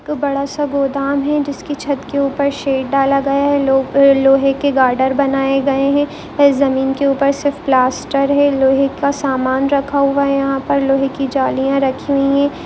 एक बड़ा- सा गोदाम है जिसकी छत के ऊपर शेड डाला गया है लोहे के बॉर्डर बनाये गए है और जमीन के ऊपर सिर्फ प्लास्टर है लोहे का समान रखा हुआ है यहाँ पर लोहे की जालिया रखी हुई है।